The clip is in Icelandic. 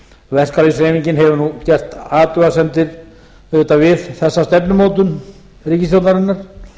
verkalýðshreyfingin hefur nú gert athugasemdir auðvitað við þessa stefnumótun ríkisstjórnarinnar